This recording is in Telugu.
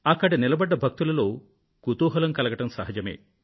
అక్కడ నిలబడ్డ భక్తులలో కుతూహలం కలగడం సహజమే